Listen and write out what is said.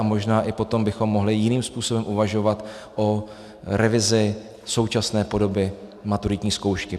A možná i potom bychom mohli jiným způsobem uvažovat o revizi současné podoby maturitní zkoušky.